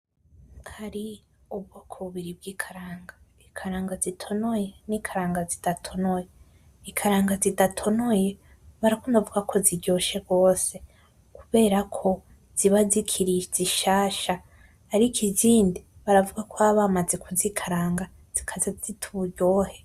Hari ubwoko bubiri bwikaranga ikaranga zitonoye N’ikaranga zidatonoye. Ikaranga zidatonoye barakunda kuvuga ko ziryoshe rwose kubera ko ziba zikiri zishasha. Ariko iz’indi baravuga ko baba bamaze kuzikaranga zikaza zita uburyohe.